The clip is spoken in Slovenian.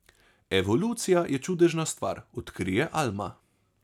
Evolucija je čudežna stvar, odkrije Alma.